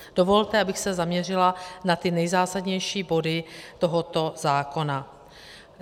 Dovolte, abych se zaměřila na ty nejzásadnější body tohoto zákona.